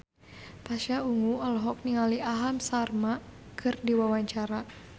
Pasha Ungu olohok ningali Aham Sharma keur diwawancara